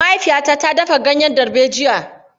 Mahaifiyata ta dafa ganyen darbejiya.